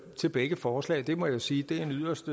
til begge forslag det må jeg sige er en yderst